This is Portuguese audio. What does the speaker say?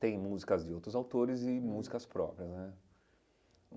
tem músicas de outros autores e músicas próprias né.